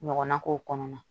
Ɲɔgɔnna k'o kɔnɔna na